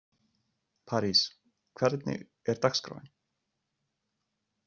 París, hvernig er dagskráin?